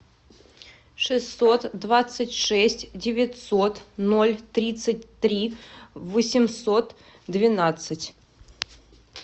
шестьсот двадцать шесть девятьсот ноль тридцать три восемьсот двенадцать